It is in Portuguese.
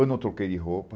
Eu não troquei de roupa.